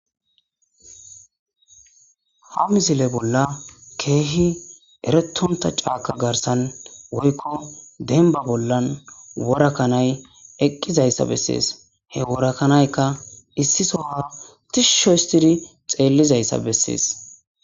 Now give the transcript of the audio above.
ha mizile bolla keehi eretonta caaka garsan woykko denba bollan worakanay eqqizayssa bessees he worakanaykka issisoha tishsho histidi xeellizayssa bessees